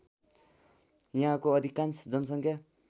यहाँको अधिकांश जनसङ्ख्या